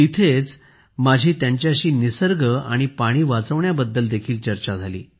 तिथेच माझी त्यांच्याशी निसर्ग आणि पाणी वाचवण्याबद्दल देखील चर्चा झाली